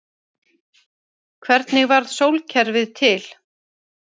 hvernig varð sólkerfið til